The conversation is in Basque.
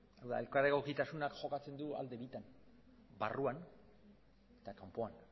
eta elkar egokitasunak jokatzen du alde bitan barruan eta kanpoan